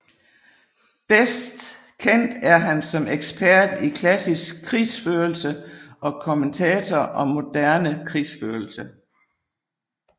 Bedst kendt er han som ekspert i klassisk krigsførelse og kommentator om moderne krigsførelse